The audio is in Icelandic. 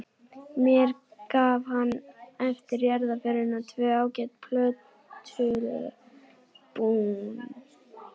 Mér gaf hann eftir jarðarförina tvö ágæt plötualbúm.